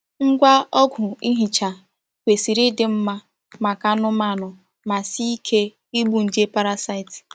Ngwa ọgwụ ihicha kwesịrị ịdị mma maka anụmanụ ma sie ike igbu nje parasaịtị.